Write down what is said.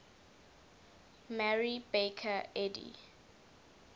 mary baker eddy